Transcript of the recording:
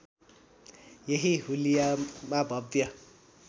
यही हुलियामा भव्य